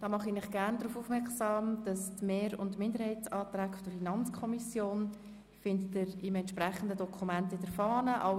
Ich mache Sie gerne darauf aufmerksam, dass Sie die Mehrheits- und Minderheitsanträge der FiKo im entsprechenden Dokument in der Fahne finden.